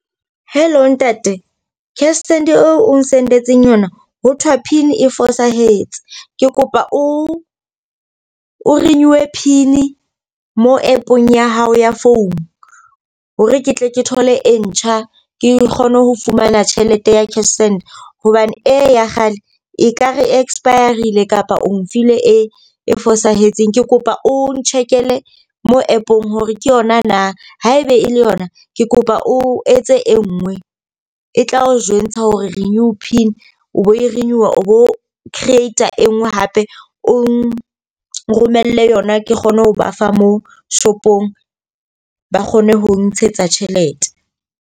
Hello ntate. Cashsend eo ong send-etseng yona, ho thwa pin e fosahetseng. Ke kopa o o renew-e pin mo app-ong ya hao ya phone hore ke tle ke thole e ntjha, ke kgone ho fumana tjhelete ya cash send. Hobane e ya kgale ekare expire-rile kapa o nfile e e fosahetseng. Ke kopa o ntjhekele mo app-ong hore ke yona na, haebe e le yona ke kopa o etse e nngwe e tla o jwentsha hore renew pin o bo e rekuwa, o bo creator e nngwe hape o nromelle yona. Ke kgone ho ba fa moo shopong ba kgone ho ntshetsa tjhelete.